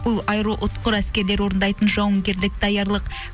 бұл аэроұтқыр әскерлері орындайтын жауынгерлік даярлық